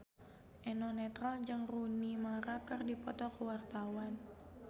Eno Netral jeung Rooney Mara keur dipoto ku wartawan